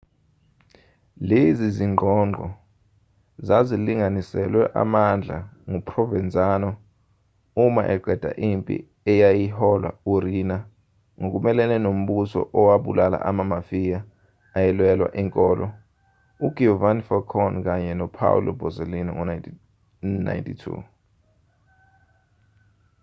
lezi zingqongqo zazilinganiselwe amandla nguprovenzano uma eqeda impi eyayiholwa uriina ngokumelene nombuso owabulala amamafia ayelwela inkolo ugiovanni falcone kanye nopaolo borsellino ngo-1992